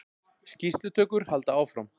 Skýrslutökur halda áfram